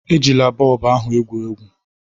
Ejila bọlbụ ahu egwu egwu!